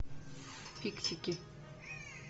фиксики